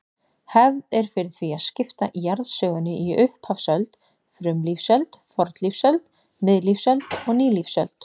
Hefð er fyrir því að skipta jarðsögunni í upphafsöld, frumlífsöld, fornlífsöld, miðlífsöld og nýlífsöld.